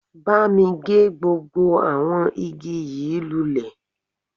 Bámi gé gbogbo àwọn igi yìí lulẹ̀